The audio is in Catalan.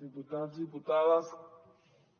diputats diputades